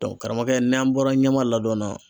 karamɔgɔkɛ n'an bɔra ɲama ladɔn na